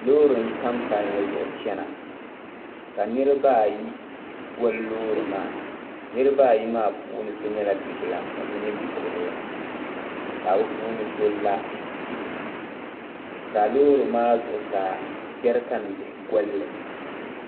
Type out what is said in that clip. loori n tam palli zuɣu chana ka niriba ayi gɔli loori maa niriba ayi maa puuni so nyɛla bibla ka so nyɛ bi'kurili ka bɛ puuni so la ka loori maa zuɣusaa jarikan bihi gɔli.